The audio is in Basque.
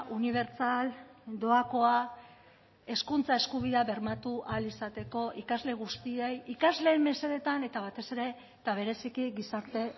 unibertsal doakoa hezkuntza eskubidea bermatu ahal izateko ikasle guztiei ikasleen mesedetan eta batez ere eta bereziki gizarte